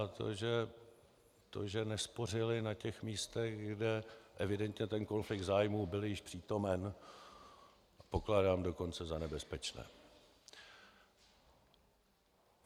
A to, že nespořili na těch místech, kde evidentně ten konflikt zájmů byl již přítomen, pokládám dokonce za nebezpečné.